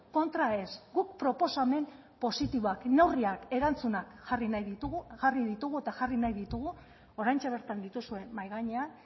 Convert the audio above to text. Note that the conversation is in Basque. kontra ez guk proposamen positiboak neurriak erantzunak jarri nahi ditugu jarri ditugu eta jarri nahi ditugu oraintxe bertan dituzue mahai gainean